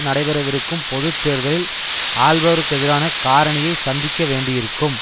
நடைபெறவிருக்கும் பொது தேர்தலில் ஆள்பவருக்கு எதிரான காரணியை சந்திக்க வேண்டியிருக்கும்